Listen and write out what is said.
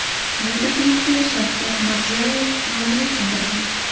Bu taklifga Shavkat Mirziyoyev rozilik bildirgan.